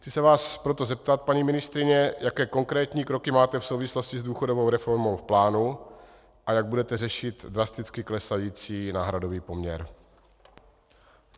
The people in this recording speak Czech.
Chci se vás proto zeptat, paní ministryně, jaké konkrétní kroky máte v souvislosti s důchodovou reformou v plánu a jak budete řešit drasticky klesající náhradový poměr.